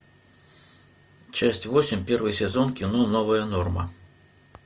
часть восемь первый сезон кино новая норма